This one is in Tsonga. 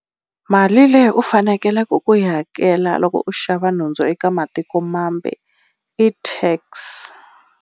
Mali leyi u fanekeleke ku yi hakela loko u xava nhundzu eka matikomambe i tax.